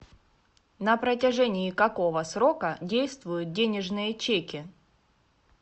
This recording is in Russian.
на протяжении какого срока действуют денежные чеки